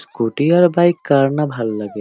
Scooty আর bike কার না ভাল লাগে।